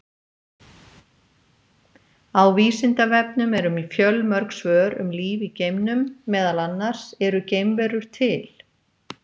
Á Vísindavefnum eru fjölmörg svör um líf í geimnum, meðal annars: Eru geimverur til?